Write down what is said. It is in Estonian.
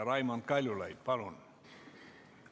Raimond Kaljulaid, palun!